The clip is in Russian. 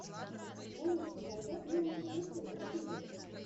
можешь показать музыку души в ютюбе